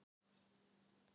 Öruggt hjá Haukum